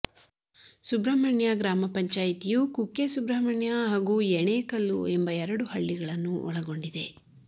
ಸುಬ್ರಹ್ಮಣ್ಯ ಗ್ರಾಮ ಪಂಚಾಯಿತಿಯು ಕುಕ್ಕೆ ಸುಬ್ರಹ್ಮಣ್ಯ ಹಾಗೂ ಯೆಣೇಕಲ್ಲು ಎಂಬ ಎರಡು ಹಳ್ಳಿಗಳನ್ನು ಒಳಗೊಂಡಿದೆ